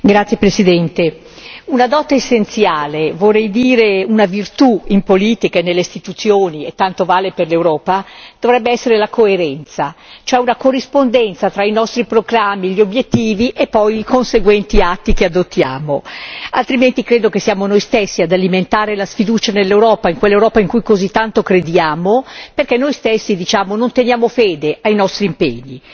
Signora Presidente, onorevoli colleghi, una dote essenziale, vorrei dire una virtù in politica e nelle Istituzioni, e ciò vale anche per l'Europa, dovrebbe essere la coerenza, cioè una corrispondenza tra i nostri proclami, gli obiettivi e poi i conseguenti atti che adottiamo, altrimenti credo che siamo noi stessi ad alimentare la sfiducia nell'Europa, in quella Europa in cui così tanto crediamo, perché noi stessi, diciamo, non teniamo fede ai nostri impegni.